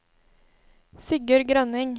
Sigurd Grønning